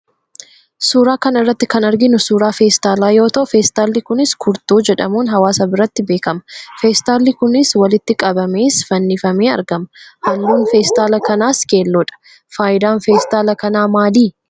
Suuraa kana irratti kan arginu suuraa feestaalaa yoo ta'u, feestaalli kunis 'kurtuu' jedhamuun hawaasa biratti beekama. Feestaaliin kunis walitti qabamees fannifamee argama. Halluun feestaala kanaas keelloodha. Faayidaan feestaala kanaa maali?